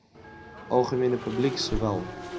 algemene publiek sowel